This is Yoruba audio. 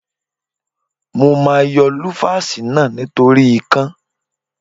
Mo máa yọ lúfásì náà nítorí ikán.